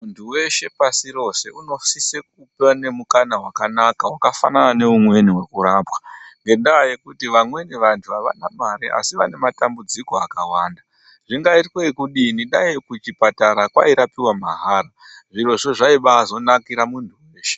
Ntu weshe pashi rose unosise kuve nemukana wakanaka wakafanana neumweni wekurapwa ngenda yekuti vamweni vantu avana mare asi vane matambudziko akawanda zvingaitwe ekudini dai kuchipatara kwairapiwa mahara zvirozvo zvaizobanakira munhu weshe.